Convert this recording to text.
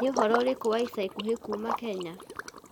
niũhoro ũrĩkũ wa ĩca ĩkũhĩ kũma kenya